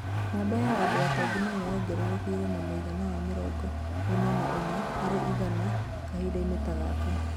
Namba ya andũ atongu nayo yongererekirĩ na mũĩgana wa mĩrongo ĩna na ĩna harĩ igana kahindaini ta gaka